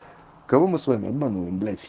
кого мы с вами обманываем блять